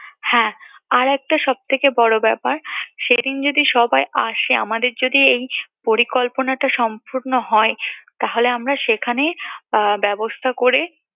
হ্যাঁ আরেকটা সবথেকে বড় ব্যাপার সেদিন যদি সবাই আসে, আমাদের যদি এই পরিকল্পনাটা সম্পূর্ণ হয় তাহলে আমরা সেখানে ব্যবস্থা করে